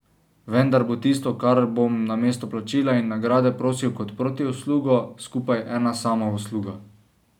Vendar bo tisto, kar bom namesto plačila in nagrade prosil kot protiuslugo, skupaj ena sama usluga.